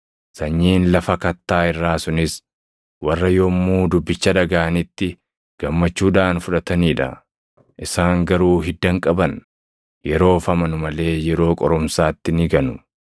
Sanyiin lafa kattaa irraa sunis warra yommuu dubbicha dhagaʼanitti gammachuudhaan fudhatanii dha; isaan garuu hidda hin qaban. Yeroof amanu malee yeroo qorumsaatti ni ganu.